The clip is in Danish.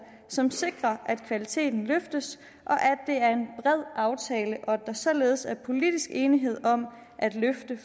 som sikrer at kvaliteten løftes og aftale og at der således er politisk enighed om at løfte